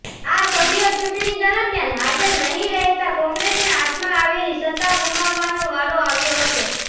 આ સભ્યો ચૂંટણી દરમિયાન હાજર નહી રહેતા કોંગ્રેસને હાથમાં આવેલી સત્તા ગુમાવવાનો વારો આવ્યો હતો